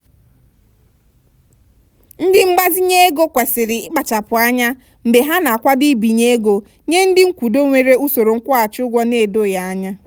ndị ngbazinye ego kwesịrị ịkpachapụ anya mgbe ha na-akwado ibinye ego nye ndị nkwudo nwere usoro nkwụghachi ụgwọ na-edoghị anya.